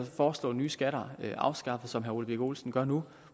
foreslå nye skatter afskaffet som herre ole birk olesen gør nu